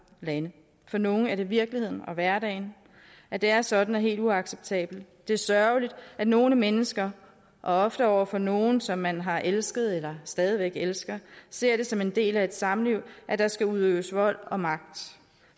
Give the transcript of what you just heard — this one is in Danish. lande for nogle er det virkeligheden og hverdagen at det er sådan er helt uacceptabelt det er sørgeligt at nogle mennesker ofte over for nogle som man har elsket eller stadig væk elsker ser det som en del af et samliv at der skal udøves vold og magt